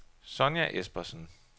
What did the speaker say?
Sonja Espersen